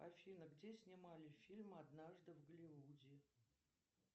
афина где снимали фильм однажды в голливуде